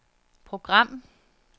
program